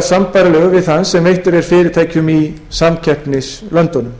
við þann sem veittur er fyrirtækjum í samkeppnislöndunum